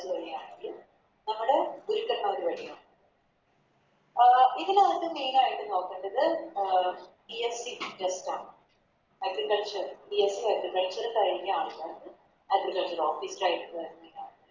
Government വഴിയാണെങ്കിൽ നമ്മുടെ ഗുരുക്കന്മാര് വഴിയോ അഹ് ഇതിനകത്ത് Main ആയിട്ട് നോക്കേണ്ടത് അഹ് B.Sc ആണ് AgricultureBSCAgriculture കഴിഞ്ഞ ആൾക്കാർക്ക് Guest ആയിട്ട്